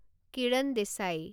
Kiran Desai